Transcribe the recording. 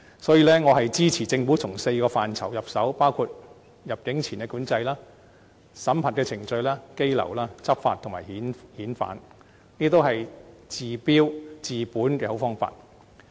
所以，我支持政府從4個範疇入手，包括入境前管制、審核程序、羈留、執法及遣返方面，這些都是治標又治本的好方法。